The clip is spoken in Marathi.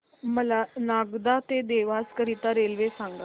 मला नागदा ते देवास करीता रेल्वे सांगा